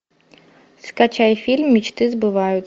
скачай фильм мечты сбываются